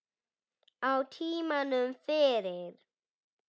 Á tímanum fyrir